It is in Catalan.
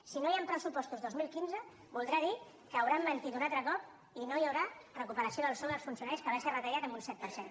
si no hi han pressupostos dos mil quinze voldrà dir que hauran mentit un altre cop i que no hi haurà recuperació del sou dels funcionaris que va ser retallat en un set per cent